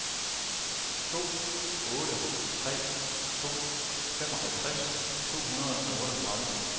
to otte tre to femoghalvtreds to hundrede og otteogtredive